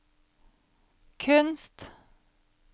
kunst